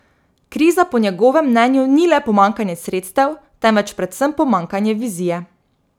Kriza po njegovem mnenju ni le pomanjkanje sredstev, temveč predvsem pomanjkanje vizije.